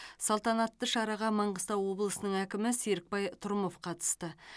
салтанатты шараға маңғыстау облысының әкімі серікбай трұмов қатысты